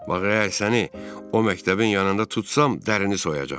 Bax əgər səni o məktəbin yanında tutsam, dərini soyacağam.